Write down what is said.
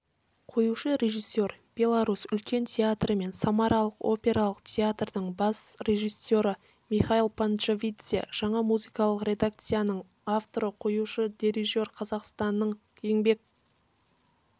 қоюшы режиссер беларусь үлкен театры мен самаралық опералық театрдың бас режиссері михаил панджавидзе жаңа музыкалық редакцияның авторы қоюшы дирижер қазақстанның еңбек